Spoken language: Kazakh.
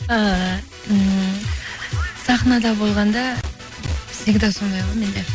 ііі ммм сахнада болғанда всегда сондай ғой менде